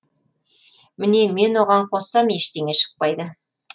міне мен оған қоссам ештеңе шықпайды